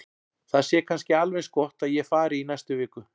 Það sé kannski alveg eins gott að ég fari í næstu viku.